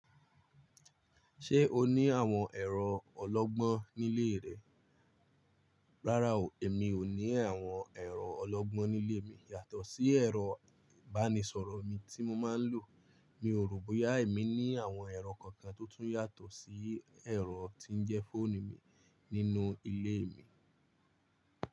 Ṣé o ní àwọn ẹ̀rọ ọlọ́gbọ́n nílé rẹ? Rárá o, èmi ò ní àwọn ẹ̀rọ ọlọ́gbọ́n nílé mi yàtọ̀ sí ẹ̀rọ ìbánisọ̀rọ̀ mi tí mo máa ń lò. Mi ò rò bóyá èmi ní àwọn ẹ̀rọ kankan tó tún yàtọ̀ sí ẹ̀rọ tí ń jẹ́ fóònù mi nínú ilé mi.